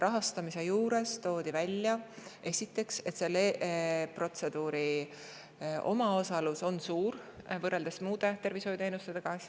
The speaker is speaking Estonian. Rahastamise puhul toodi välja, et selle protseduuri omaosalus on suur, võrreldes muude tervishoiuteenustega.